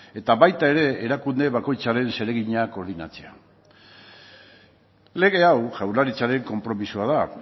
eta baita ere erakunde bakoitzaren zeregina koordinatzea lege hau jaurlaritzaren konpromisoa da